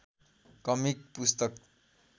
comic पुस्तक